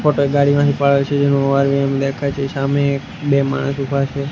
દેખાય છે સામે એક બે માણસ ઊભા છે.